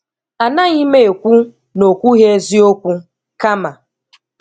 Anaghị m ekwu na okwụghị eziokwu, kama